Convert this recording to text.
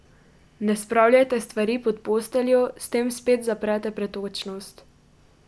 Ne spravljajte stvari pod posteljo, s tem spet zaprete pretočnost.